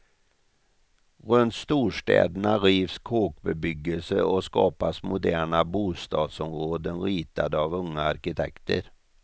Runt storstäderna rivs kåkbebyggelse och skapas moderna bostadsområden ritade av unga arkitekter.